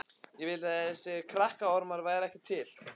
Ég vildi að þessir krakkaormar væru ekki til.